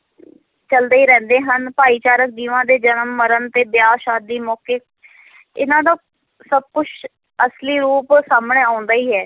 ਚੱਲਦੇ ਹੀ ਰਹਿੰਦੇ ਹਨ, ਭਾਈਚਾਰਕ ਜੀਵਾਂ ਦੇ ਜਨਮ-ਮਰਨ ਤੇ ਵਿਆਹ-ਸ਼ਾਦੀ ਮੌਕੇ ਇਨ੍ਹਾਂ ਦਾ ਸਭ ਕੁਛ ਅਸਲੀ ਰੂਪ ਸਾਹਮਣੇ ਆਉਂਦਾ ਹੀ ਹੈ।